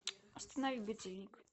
останови будильник